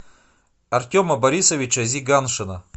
артема борисовича зиганшина